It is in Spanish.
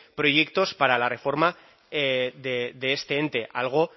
proyectos para la reforma de este ente algo